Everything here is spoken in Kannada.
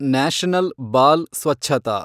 ನ್ಯಾಷನಲ್ ಬಾಲ್ ಸ್ವಚ್ಛತಾ